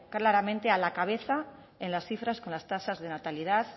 claramente a la cabeza en las cifras con las tasas de natalidad